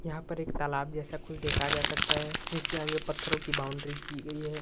यहाँ पर एक तालाब जैसा कुछ देखा जा सकता है जिसके आगे पत्थरों की बाउंड्री की गयी है।